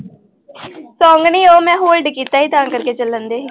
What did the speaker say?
Song ਨੀ ਉਹ ਮੈਂ hold ਕੀਤਾ ਸੀ ਤਾਂ ਕਰਕੇ ਚੱਲਣਡੇ ਸੀ।